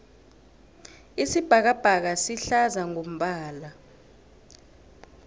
isibhakabhaka sihlaza ngombala